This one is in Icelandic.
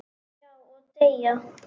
Já, og deyja